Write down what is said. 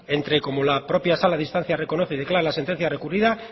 entre como la propia sala de instancia reconoce y señala en la sentencia recurrida